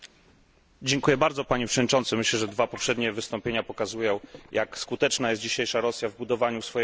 Panie Przewodniczący! Myślę, że dwa poprzednie wystąpienia pokazują, jak skuteczna jest dzisiejsza Rosja w budowaniu swojej agentury wpływów.